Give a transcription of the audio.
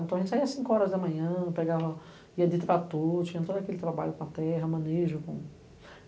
Então a gente saia às cinco horas da manhã, pegava, ia de trator, tinha todo aquele trabalho com a terra, manejo.